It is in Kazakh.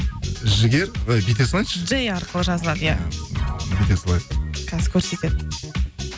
жігер і бүйте салайыншы джэй арқылы жазылады иә бүйте салайық қазір көрсетеді